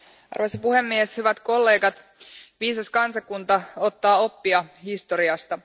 Arvoisa puhemies, hyvät kollegat, viisas kansakunta ottaa oppia historiasta.